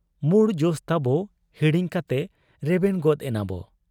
ᱢᱩᱬ ᱡᱚᱥ ᱛᱟᱵᱚ ᱦᱤᱲᱤᱧ ᱠᱟᱛᱮ ᱨᱮᱵᱮᱱ ᱜᱚᱫ ᱮᱱᱟᱵᱚ ᱾